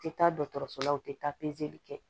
U tɛ taa dɔgɔtɔrɔso la u tɛ taa pezeli kɛ